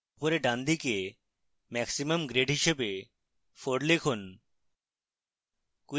উপরের ডানদিকে maximum grade হিসাবে 4 লিখুন